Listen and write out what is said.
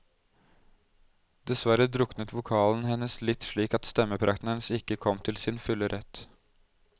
Desverre druknet vokalen hennes litt slik at stemmeprakten hennes ikke kom til sin fulle rett.